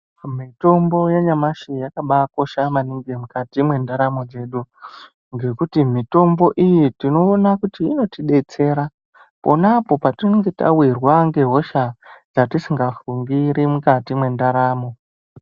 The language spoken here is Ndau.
Mitombo yanyamashi yakambaakosha maningi mukati mwendaramo dzedu. Ngekuti mitombo iyi tinoona kuti inotidetsera ponapo patinenge tawirwa ngehosha dzatisingafungiri mukati mwendaramo.